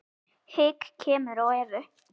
Hik kemur á Evu.